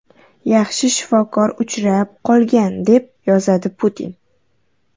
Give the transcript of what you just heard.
Yaxshi shifokor uchrab qolgan”, - deb yozadi Putin.